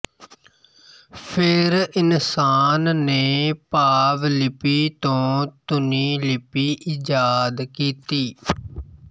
ਫਿਰ ਇਨਸਾਨ ਨੇ ਭਾਵ ਲਿਪੀ ਤੋਂ ਧੁਨੀ ਲਿਪੀ ਈਜਾਦ ਕੀਤੀ